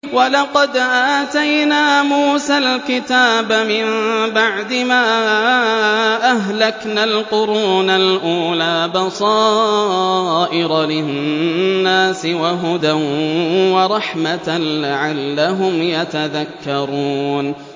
وَلَقَدْ آتَيْنَا مُوسَى الْكِتَابَ مِن بَعْدِ مَا أَهْلَكْنَا الْقُرُونَ الْأُولَىٰ بَصَائِرَ لِلنَّاسِ وَهُدًى وَرَحْمَةً لَّعَلَّهُمْ يَتَذَكَّرُونَ